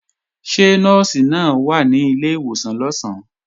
Ṣé Nọ́ọ̀sì náà wà ní ilé ìwòsàn lọ̀sán?